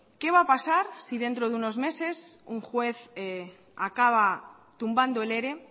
qué va a pasar si dentro de unos meses un juez acaba tumbando el ere